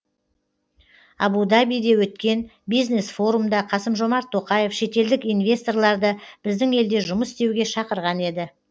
абу дабиде өткен бизнес форумда қасым жомарт тоқаев шетелдік инвесторларды біздің елде жұмыс істеуге шақырған еді